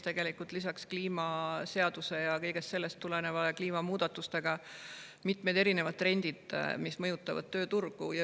Tõepoolest, lisaks kliimaseadusele, kõigest sellest tulenevale ja kliimamuutustele seisavad meie ees mitmed trendid, mis mõjutavad tööturgu.